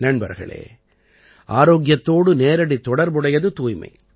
நண்பர்களே ஆரோக்கியத்தோடு நேரடித் தொடர்பு உடையது தூய்மை